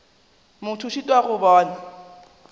motho a šitwa go bona